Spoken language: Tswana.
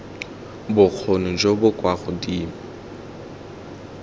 bokgoni jo bo kwa godimo